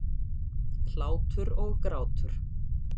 Hlátur og grátur.